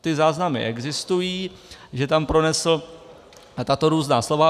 Ty záznamy existují, že tam pronesl tato různá slova.